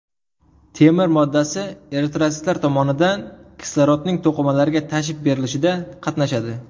Temir moddasi eritrotsitlar tomonidan kislorodning to‘qimalarga tashib berilishida qatnashadi.